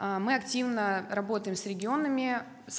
а мы активно работаем с регионами с